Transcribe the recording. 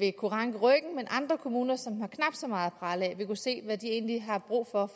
vil kunne ranke ryggen mens andre kommuner som har knap så meget at prale af vil kunne se hvad de egentlig har brug for